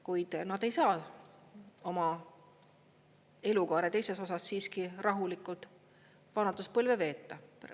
Kuid nad ei saa oma elukaare teises osas siiski rahulikult vanaduspõlve veeta.